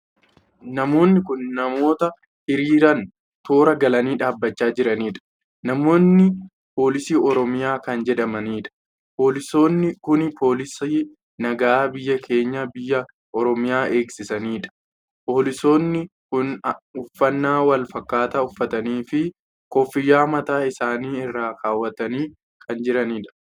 Namoonni kun namoota hiriiraan toora galanii dhaabbachaa jiranidha. namoonni poolisii oromiyaa kan jedhamanidha. poolisonni kun poolisii nagaa biyyaa keenya biyya oromiyaa eegsiisaniidha. poolisonni kun uffannaa wal fakkaataa uffatanii fi koffiyyaa mataa isaanii irra kaawwatanii kan jiranidha.